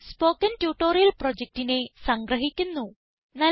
ഇത് spoken tutorial പ്രൊജക്റ്റിനെ സംഗ്രഹിക്കുന്നു